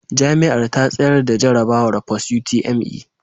Jami'ar ta tsayar da jarrabawar Post utme